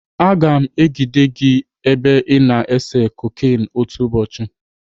Aga m ejide gị ebe ị na-ese koken otu ụbọchị.